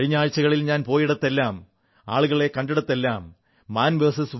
കഴിഞ്ഞ ആഴ്ചകളിൽ ഞാൻ പോയിടത്തെല്ലാം ആളുകളെ കണ്ടിടത്തെല്ലാം മാൻ വിഎസ്